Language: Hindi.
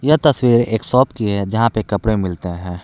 यह तस्वीर एक शॉप की है जहां पे कपड़े मिलते हैं।